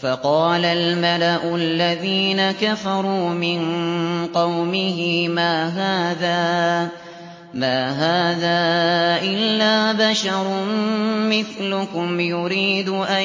فَقَالَ الْمَلَأُ الَّذِينَ كَفَرُوا مِن قَوْمِهِ مَا هَٰذَا إِلَّا بَشَرٌ مِّثْلُكُمْ يُرِيدُ أَن